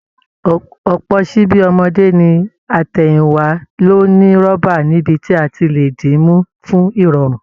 Ọ̀pọ̀ ṣíbí ọmọdé ní àtẹ̀yìnwá ló ní rọ́bà níbi tí a ti lè dì í mú fún ìrọ̀rùn